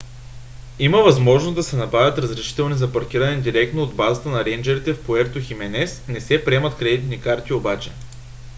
има възможност да се набавят разрешителни за паркиране директно от базата на рейнджърите в пуерто хименес не се приемат кредитни карти обаче